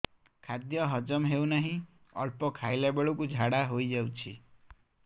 ଖାଦ୍ୟ ହଜମ ହେଉ ନାହିଁ ଅଳ୍ପ ଖାଇଲା ବେଳକୁ ଝାଡ଼ା ହୋଇଯାଉଛି